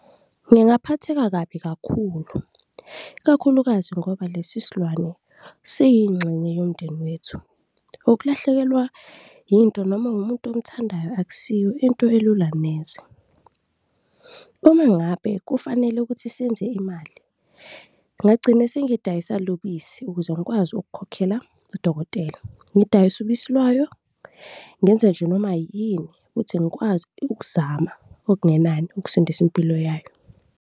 Ngingaphatheka kabi kakhulu, ikakhulukazi ngoba lesi silwane siyingxenye yomndeni wethu, ukulahlekelwa yinto noma umuntu omthandayo akusiyo into elula neze. Uma ngabe kufanele ukuthi senze imali, ngingagcina sengidayisa lobisi ukuze ngikwazi ukukhokhela udokotela, ngidayise ubisi lwayo, ngenze nje noma yini ukuthi ngikwazi ukuzama okungenani ukusindisa impilo yayo.